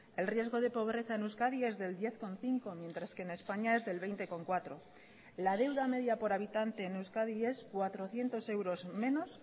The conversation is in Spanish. el riesgo de pobreza en euskadi es del diez coma cinco mientras que en españa es del veinte coma cuatro la deuda media por habitante en euskadi es cuatrocientos euros menos